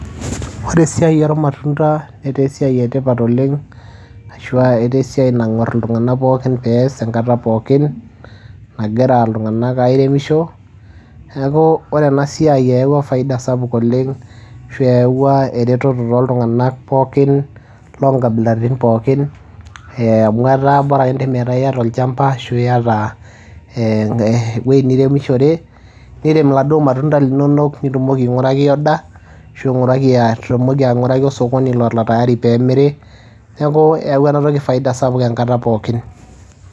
Ore esiai ormatuna netaa esiai etipat oleng', ashua etaa esiai nang'war iltung'anak pookin peas enkata pookin nagira iltung'anak airemisho . Niaku ore ena siai eyawua faida sapuk oleng' ashu eyawua ereteto to ltung'anak pookin loonkabilaritin pookin amu etaa bora akeyie metaa iyata olchamba ashu iyata ewuiei niremishore . Nirem iladuo matunda linonok nitumoki ainguraki order ashu itumoki ainguraki osokoni lora taari pemiri, niaki eyawua ena toki faida sapuk enkata pookin.